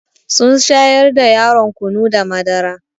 Sun shayar da yaron kunu da madara.